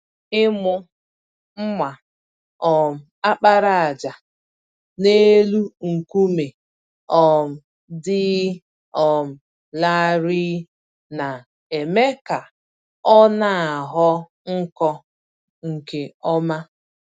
Ịmụ mma um àkpàràjà n'elu nkume um dị um larịị na-eme ka ọnaghọ nkọ nke ọma.